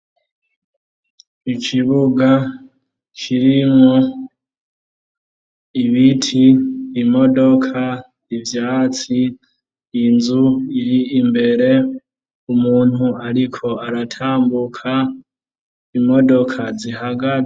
Ikibuga kirimwo ibiti, imodoka, ivyatsi, inzu iri imbere, umuntu ariko aratambuka, imodoka zihagaze.